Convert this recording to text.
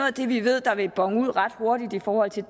af det vi ved vil bone ud ret hurtigt i forhold til